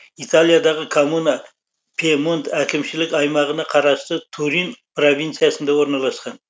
италиядағы коммуна пьемонт әкімшілік аймағына қарасты турин провинциясында орналасқан